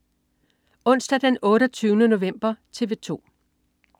Onsdag den 28. november - TV 2: